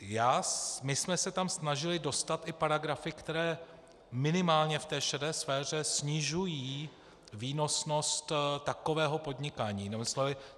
My jsme se tam snažili dostat i paragrafy, které minimálně v té šedé sféře snižují výnosnost takového podnikání.